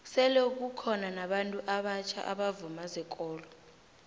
sele kukhono nabantu abatjha abavuma zekolo